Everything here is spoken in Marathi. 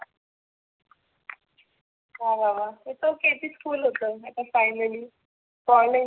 होना मग its ok ते school होतं. आपण finally कॉलेज